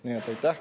Nii et aitäh!